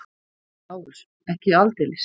LÁRUS: Ekki aldeilis!